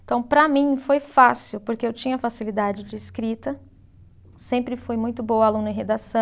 Então, para mim foi fácil, porque eu tinha facilidade de escrita, sempre fui muito boa aluna em redação.